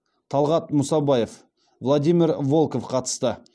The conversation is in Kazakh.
талғат мұсабаев владимир волков қатысты